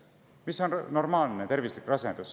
Mis on normaalne rasedus?